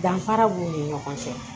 Danfara b'u ni ɲɔgɔn cɛ